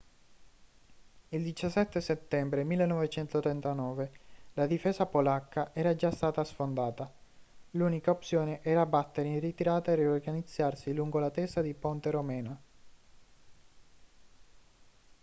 il 17 settembre 1939 la difesa polacca era già stata sfondata l'unica opzione era battere in ritirata e riorganizzarsi lungo la testa di ponte romena